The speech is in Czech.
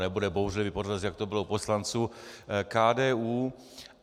Nebude bouřlivý potlesk, jak to bylo u poslanců KDU.